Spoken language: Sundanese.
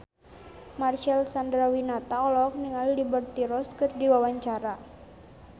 Marcel Chandrawinata olohok ningali Liberty Ross keur diwawancara